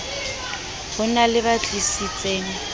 ho na le ba tlisitseng